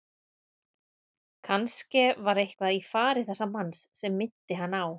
Kannske var eitthvað í fari þessa manns sem minnti hann á